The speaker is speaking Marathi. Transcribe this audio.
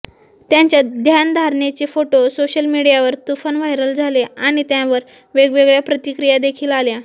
त्यांच्या ध्यानधारणेचे फोटो सोशल मीडियावर तुफान व्हायरल झाले आणि त्यावर वेगवेगळ्या प्रतिक्रियादेखील आल्या